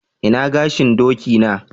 Ina gashin doki na?